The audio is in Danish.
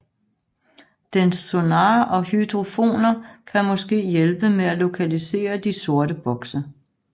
Dens sonar og hydrofoner kan måske hjælpe med at lokalisere de sorte bokse